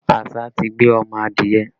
Àṣá ti gbé ọmọ adìẹ